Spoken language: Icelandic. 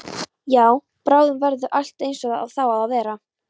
Já, bráðum verður allt einsog það á að vera.